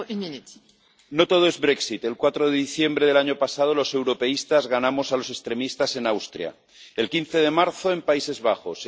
Señora presidenta, no todo es el 4 de diciembre del año pasado, los europeístas ganamos a los extremistas en Austria el 15 de marzo, en los Países Bajos